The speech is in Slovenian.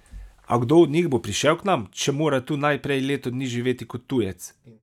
A kdo od njih bo prišel k nam, če mora tu najprej leto dni živeti kot tujec?